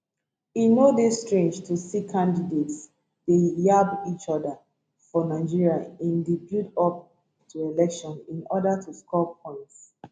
e no dey strange to see candidates dey yab each oda for nigeria in di build up to election in oda to score points